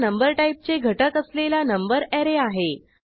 हा नंबर टाईपचे घटक असलेला नंबर ऍरे आहे